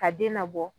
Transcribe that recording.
Ka den nabɔ